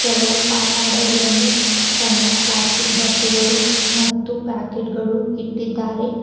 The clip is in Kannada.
ಕೆಲವು ಕಾಪಾಡು ಗಳಲ್ಲಿ ಸಣ್ಣ ಪ್ಲಾಸ್ಟಿಕ್ ಡಬ್ಬಿಗಳು ಮತ್ತು ಪ್ಯಾಕೆಟ್ ಗಳು ಇಟ್ಟಿದ್ದಾರೆ.